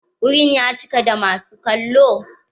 Wurin ya cika da masu kallo?